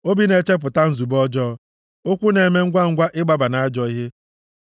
Obi na-echepụta nzube ọjọọ; ụkwụ na-eme ngwangwa ịgbaba nʼajọ ihe,